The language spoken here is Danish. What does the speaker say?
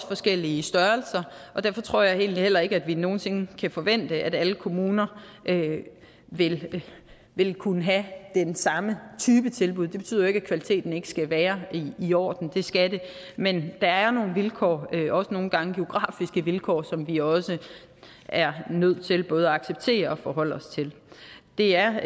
forskellige størrelser og derfor tror jeg egentlig heller ikke vi nogen sinde kan forvente at alle kommuner vil vil kunne have den samme type tilbud det betyder jo ikke at kvaliteten ikke skal være i orden det skal den men at der er nogle vilkår også nogle gange geografiske vilkår som vi også er nødt til både at acceptere og forholde os til det er